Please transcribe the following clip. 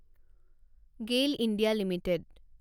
Gayle India limited